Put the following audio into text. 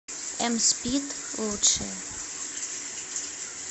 эмспид лучшее